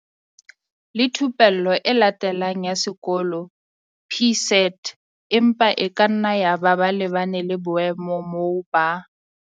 le Thupello e Latelang ya Sekolo, PSET, empa e kanna yaba ba lebane le boemo moo ba.